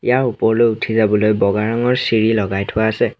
ইয়াৰ ওপৰলৈ উঠি যাবলৈ বগা ৰঙৰ চিৰি লগাই থোৱা আছে।